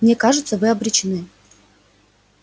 мне кажется вы обречены